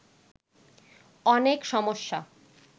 অনেক সমস্যা